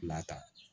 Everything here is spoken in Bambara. Lata